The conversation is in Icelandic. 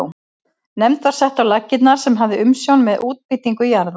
Nefnd var sett á laggirnar sem hafði umsjón með útbýtingu jarða.